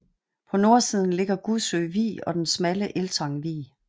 På nordsiden ligger Gudsø Vig og den smalle Eltang Vig